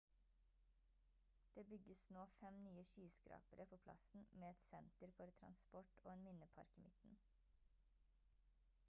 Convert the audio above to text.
det bygges nå 5 nye skyskrapere på plassen med et senter for transport og en minnepark i midten